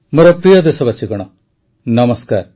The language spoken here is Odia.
ମୋର ପ୍ରିୟ ଦେଶବାସୀଗଣ ନମସ୍କାର